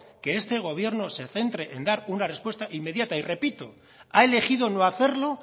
que este gobierno se centre en dar una respuesta inmediata y repito ha elegido no hacerlo